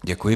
Děkuji.